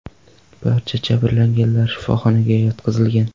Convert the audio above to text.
Barcha jabrlanganlar shifoxonaga yotqizilgan.